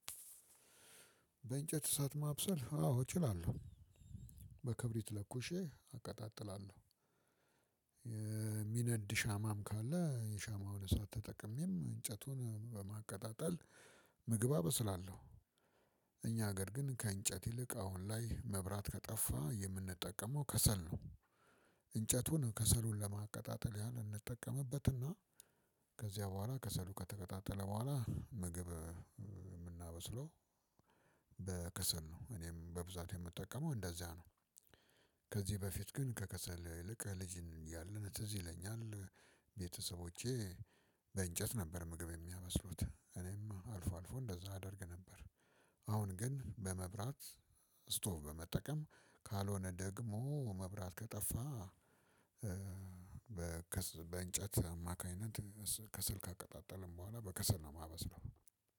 በእንጨት እሳት ማብሰል አዎ እችላለሁ። በክብሪት ለኩሼ አቀጣጥላለው የሚነድ ሻማም ካለ የሻማውን እሳት ተጠቅሜም እንጨቱን በማቀጣጠል ምግብ አበስላለው። እኛ ሀገር ግን ከእንጨት ይልቅ አሁን ላይ መብራት ከጠፋ የምንጠቀመው ከሰል ነው። እንጨቱን ከሰሉን ለማቀጣጠል ያን እንጠቀምበትና ከዚያ በኋላ ከሰሉ ከተቀጣጠለ በኋላ ምግብ የምናበስለው በከሰል ነው። እኔም በብዛት የምጠቀመው እንደዚያ ነው። ከዚበፊት ግን ከከሰል ይልቅ ልጅ እያለን ትዝ ይለኛል። ቤተሰቦቼ በእንጨት ነበር ምግብ የሚያመስሉት እኔም አልፎ አልፎ እንደዛ አደርግ ነበር። አሁን ግን በመብራት ስቶቭ በመጠቀም ካልሆነ ደግሞ መብራት ከጠፋ በእንጨት አማካኝነት ከስል ካቀጣጠልን በኋላ በከሰል ነው የማመስለው።